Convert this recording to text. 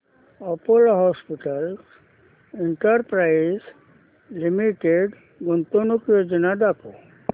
Apollo hospitals enterprise limited गुंतवणूक योजना दाखव